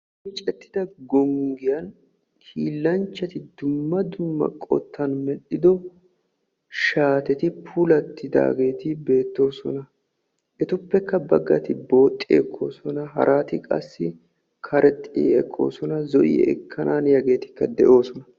Miccetida gonggiyaan hiilanchchati dumma dumma qottan medhdhido shaateti puulatidaageeti beettoosona. Etuppe baggati booxxi ekkoosona, harati qassi karexxi ekkoosonaa zo'i ekkanaaniyaageetikka de'oosona.